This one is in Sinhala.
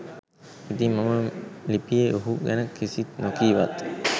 ඉතිං මම ලිපියේ ඔහු ගැන කිසිත් නොකීවත්